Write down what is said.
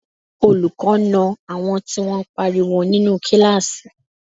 Olùkọ́ na àwọn tí wọ́n pariwo nínú kíláàsì